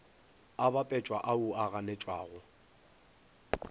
a bapetšago ao a ganetšwago